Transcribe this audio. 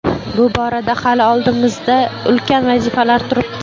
Bu borada hali oldimizda ulkan vazifalar turibdi.